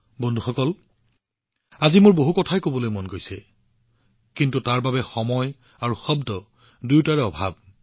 বন্ধুসকল অৱশ্যে আজি মোৰ বহুত কথা আছিল কিন্তু সময় আৰু শব্দ দুয়োটাই কম হৈ আহিছে